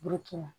Bukina